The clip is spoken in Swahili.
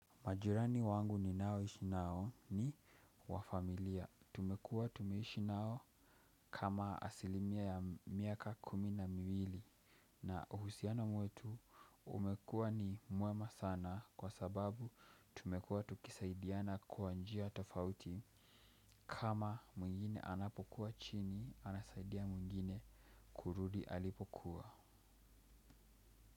Majirani wangu ninaoishi nao ni wa familia. Tumekuwa tumeishi nao kama asilimia ya miaka kumi na miwili. Na uhusiano mwetu umekuwa ni mwema sana kwa sababu tumekuwa tukisaidiana kwa njia tofauti. Kama mwingine anapokuwa chini, anasaidia mwingine kurudi alipokuwa.